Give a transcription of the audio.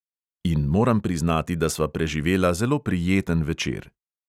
In moram priznati, da sva preživela zelo prijeten večer.